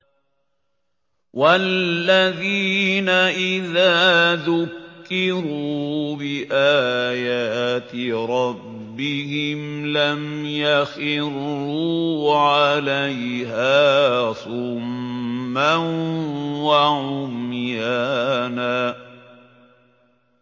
وَالَّذِينَ إِذَا ذُكِّرُوا بِآيَاتِ رَبِّهِمْ لَمْ يَخِرُّوا عَلَيْهَا صُمًّا وَعُمْيَانًا